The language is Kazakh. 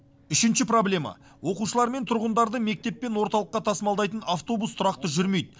үшінші проблема оқушылар мен тұрғындарды мектеп пен орталыққа тасымалдайтын автобус тұрақты жүрмейді